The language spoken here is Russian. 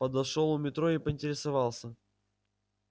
подошёл у метро и поинтересовался